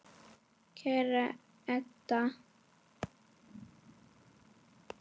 Kæra Edda.